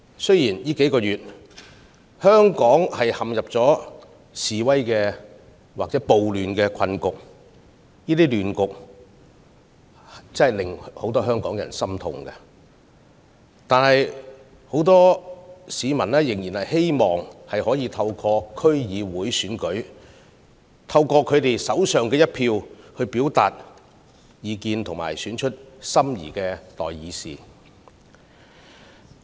雖然過去數個月，香港陷入了示威或暴亂的困局，令很多香港人心痛，但很多市民仍然希望可以在區議會選舉中，透過自己手上的一票表達意見，選出心儀的代議士。